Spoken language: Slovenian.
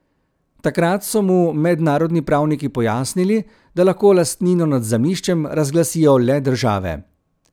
Takrat so mu mednarodni pravniki pojasnili, da lahko lastnino nad zemljiščem razglasijo le države.